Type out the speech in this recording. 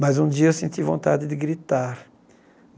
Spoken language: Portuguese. Mas um dia eu senti vontade de gritar.